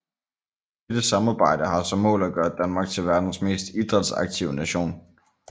Dette samarbejde har som mål at gøre Danmark til verdens mest idrætsaktive nation